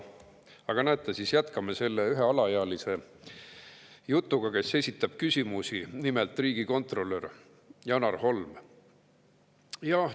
Aga näete, jätkame selle ühe alaealisega, kes esitab küsimusi, nimelt riigikontrolör Janar Holmiga.